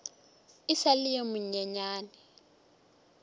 e sa le yo monyenyane